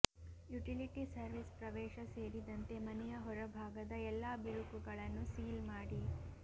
utility service ಪ್ರವೇಶ ಸೇರಿದಂತೆ ಮನೆಯ ಹೊರಭಾಗದ ಎಲ್ಲಾ ಬಿರುಕುಗಳನ್ನು ಸೀಲ್ ಮಾಡಿ